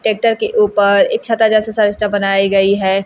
Tractor के ऊपर एक छाता जैसा बनाई गई है।